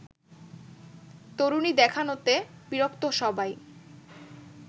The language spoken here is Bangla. তরুণী দেখানোতে বিরক্ত সবাই